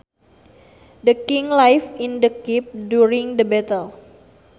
The king lived in the keep during the battle